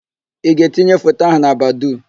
Ị ga-etinye foto ahụ na Badoo?